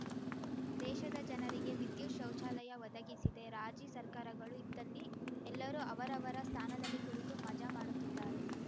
ದೇಶದ ಜನರಿಗೆ ವಿದ್ಯುತ್‌ ಶೌಚಾಲಯ ಒದಗಿಸಿದೆ ರಾಜಿ ಸರ್ಕಾರಗಳು ಇದ್ದಲ್ಲಿ ಎಲ್ಲರೂ ಅವರವರ ಸ್ಥಾನದಲ್ಲಿ ಕುಳಿತು ಮಜಾ ಮಾಡುತ್ತಿದ್ದಾರೆ